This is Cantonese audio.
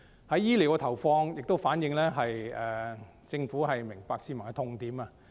在醫療方面的投放亦反映政府明白市民的痛點。